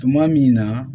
Tuma min na